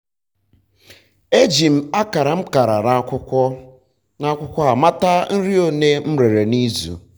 eji m akara m kara n'akwụkwọ n'akwụkwọ a mata akwụkwọ nri ole m rere na izu